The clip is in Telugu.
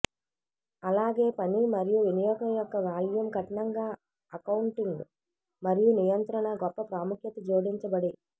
అలాగే పని మరియు వినియోగం యొక్క వాల్యూమ్ కఠినంగా అకౌంటింగ్ మరియు నియంత్రణ గొప్ప ప్రాముఖ్యత జోడించబడి